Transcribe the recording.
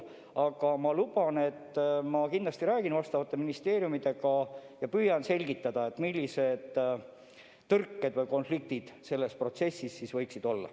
Aga ma luban, et ma kindlasti räägin nende vastavate ministeeriumidega ja püüan selgitada, millised tõrked või konfliktid selles protsessis võiksid olla.